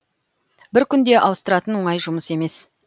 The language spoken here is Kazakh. бір күнде ауыстыратын оңай жұмыс емес